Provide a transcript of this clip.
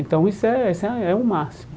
Então isso é isso é é o máximo.